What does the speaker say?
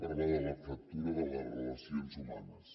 parlaré de la fractura de les relacions humanes